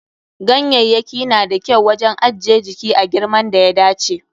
Ganyayyaki na da kyau wajen ajje jiki a girman da ya dace.